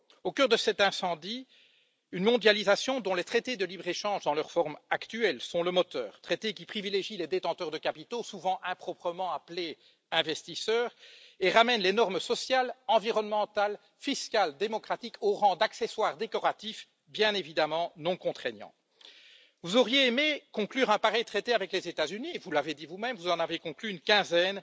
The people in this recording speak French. Au cœur de cet incendie, une mondialisation dont les traités de libre échange, dans leur forme actuelle, sont le moteur, traités qui privilégient les détenteurs de capitaux, souvent improprement appelés investisseurs, et ramènent les normes sociales, environnementales, fiscales démocratiques au rang d'accessoires décoratifs, bien évidemment non contraignants. Vous auriez aimé conclure un pareil traité avec les États Unis, et vous l'avez dit vous même, vous en avez conclu une quinzaine